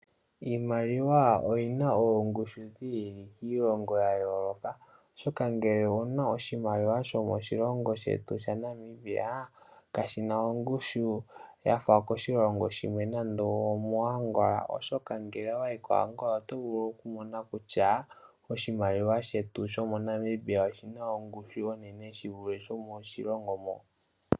Iimaliwa oyina oongushu dhi ili kiilongo ya yoloka oshoka ngele owuna oshimaliwa shomoshilongo shetu shaNamibia kashina ongushu yafa yokoshilongo shimwe nande omo Angola. Oshoka ngele owayi koAngola oto vulu oku mona kutya oshimaliwa shetu shomo Namibia oshina ongushu onene shivule shomo shilongo mo.